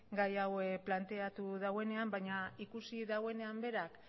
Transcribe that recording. gai hau planteatu dauenean baina ikusi dauenean berak